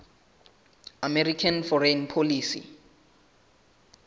american foreign policy